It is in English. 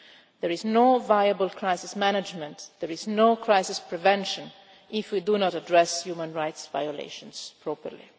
There is no viable crisis management, there is no crisis prevention if we do not address human rights violations properly.